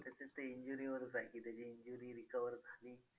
आता ते injury वरच आहे की त्याची injury recover झाली तर